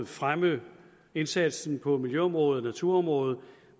fremme indsatsen på miljøområdet og naturområdet